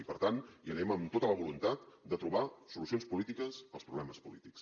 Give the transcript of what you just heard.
i per tant hi anem amb tota la voluntat de trobar solucions polítiques als problemes polítics